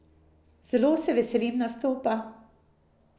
Zelo se veselim nastopa.